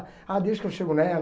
Ah, deixa que eu chego nela.